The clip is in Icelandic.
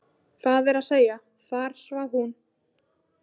Það er að segja: þar svaf hún.